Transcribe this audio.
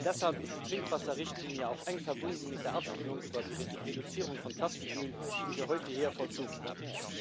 Deshalb ist die Trinkwasserrichtlinie auch eng verbunden mit der Abstimmung über die Reduzierung von Plastikmüll, die wir heute hier vollzogen haben.